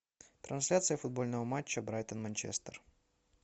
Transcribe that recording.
трансляция футбольного матча брайтон манчестер